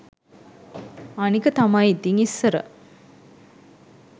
අනික තමයි ඉතින් ඉස්සර